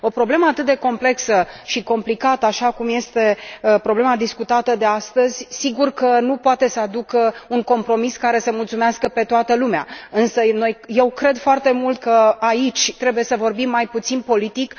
O problemă atât de complexă și complicată, așa cum este problema discutată astăzi, sigur că nu poate să aducă un compromis care să mulțumească pe toată lumea, însă eu cred foarte mult că aici trebuie să vorbim mai puțin politic.